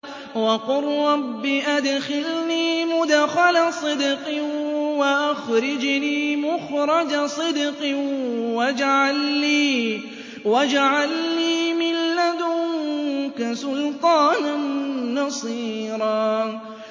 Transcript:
وَقُل رَّبِّ أَدْخِلْنِي مُدْخَلَ صِدْقٍ وَأَخْرِجْنِي مُخْرَجَ صِدْقٍ وَاجْعَل لِّي مِن لَّدُنكَ سُلْطَانًا نَّصِيرًا